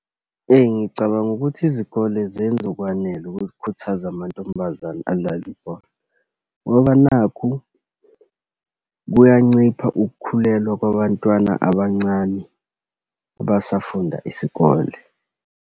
Eyi, ngicabanga ukuthi izikole zenza okwanele ukukhuthaza amantombazane adlale ibhola, ngoba nakhu kuyancipha ukukhulelwa kwabantwana abancane abasafunda isikole.